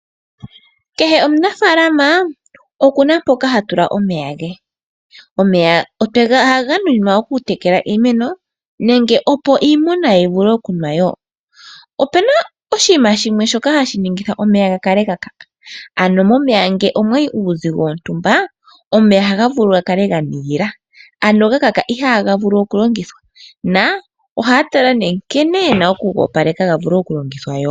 Kehe omunafalama okuna mpoka ha tula omeya ge. Omeya ohaga nuninwa okutekela iimeno nenge opo iimuna yi vule okunwa wo. Opena oshinima shimwe shoka hashi ningitha omeya ga kale ga kaka, ano momeya ngele omwayi uuzigo wontumba omeya ohaga vulu ga kale ga nigila, ano ga kaka ihaga vulu okulongithwa, na ohaya tala nee nkene yena okuga opaleka ga vule okulongithwa.